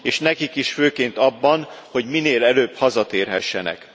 És nekik is főként abban, hogy minél előbb hazatérhessenek.